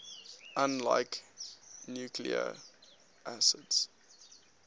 unlike nucleic acids